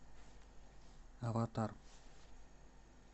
аватар